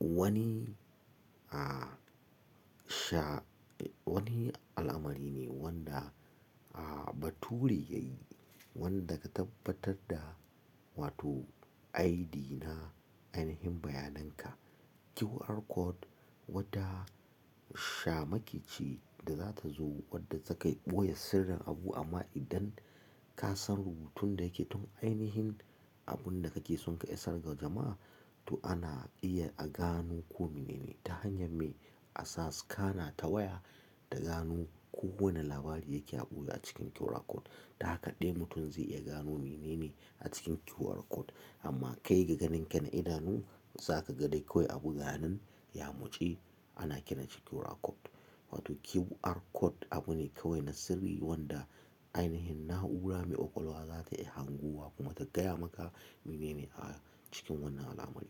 Wani, ah, sha-- wani alamari ne wanda, ah, baturi yayi wanda ka tabbatar da wato ID na ainihin bayanan ka. QR code wadda sha makiyi ce da zata zo wadda takai ɓoye sirrin abu amma idan ka san rubutun da yake tun ainihin abun da kake son ka isar ga jama'a to ana iya a gano ko mene ne ta hanyar me asa scannerta waya, da gano kowani labari yake a ɓoye a cikin QR code. Dan haka ɗai mutum zai iya gano mene ne a cikin QR code amma kai ga ganin ka na idanu za ka ga dai kawai abu ganin, ya muci ana kiran ci QR code. Wato QR code abu ne kawai na sirri wanda ainihin na'ura mai ƙwaƙwalwa za ta iya hangowa kuma ta gaya maka mene ne a cikin wannan alamari.